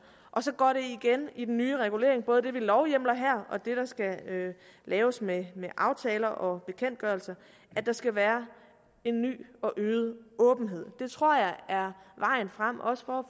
og så går det igen i den nye regulering både det vi lovhjemler her og det der skal laves med aftaler og bekendtgørelser at der skal være en ny og øget åbenhed det tror jeg er vejen frem også for